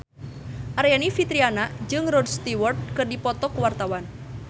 Aryani Fitriana jeung Rod Stewart keur dipoto ku wartawan